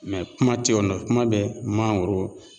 Mɛ kuma te yen nɔ kuma bɛ mangoro